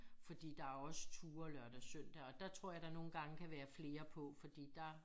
Fordi der også turer lørdag søndag og dér tror jeg der nogen gange kan være flere på fordi der